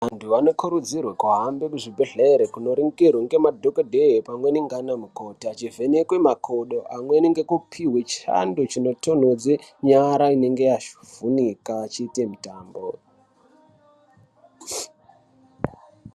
Vantu vanokurudzirwe kuhambe muzvibhedhlere kunoningirwe ngemadhogodheya pamweni ngana mukoti. Achivheneke makodo amweni ngekupihwe chando chinotonhodze nyara inenge yavhunika echiita mitambo.